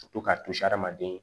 Ka to k'a to adamaden